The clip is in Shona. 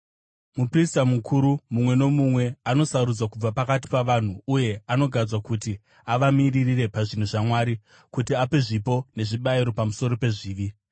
Muprista mukuru mumwe nomumwe anosarudzwa kubva pakati pavanhu uye anogadzwa kuti avamiririre pazvinhu zvaMwari, kuti ape zvipo nezvibayiro pamusoro pezvivi.